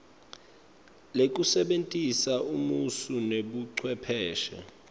lekusebentisa emasu nebucwepheshe